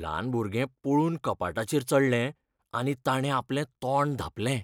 ल्हान भुरगें पळून कपाटाचेर चडलें आनी ताणें आपलें तोंड धांपलें.